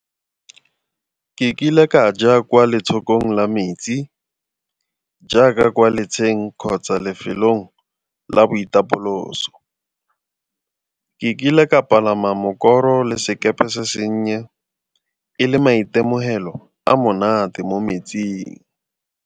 Ke kile ka ja kwa letshokong la metsi jaaka kwa letsheng kgotsa lefelong la boitapoloso. Ke kile ka palama mokoro le sekepe se senye e le maitemogelo a monate mo metsing.